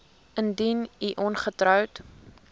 indien u ongetroud